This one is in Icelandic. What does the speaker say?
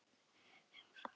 Umfram allt þetta fólk.